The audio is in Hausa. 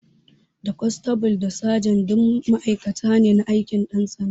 Da kwanstabul da sajan duk matakai ne a aikin ƴan sanda